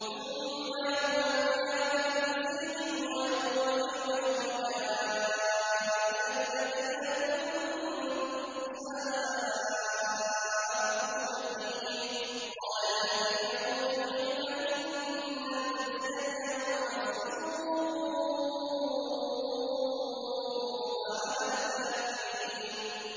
ثُمَّ يَوْمَ الْقِيَامَةِ يُخْزِيهِمْ وَيَقُولُ أَيْنَ شُرَكَائِيَ الَّذِينَ كُنتُمْ تُشَاقُّونَ فِيهِمْ ۚ قَالَ الَّذِينَ أُوتُوا الْعِلْمَ إِنَّ الْخِزْيَ الْيَوْمَ وَالسُّوءَ عَلَى الْكَافِرِينَ